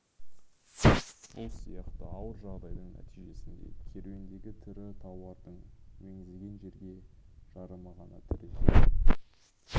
бұл сияқты ауыр жағдайдың нәтижесінде керуендегі тірі тауардың меңзеген жерге жарымы ғана тірі жететін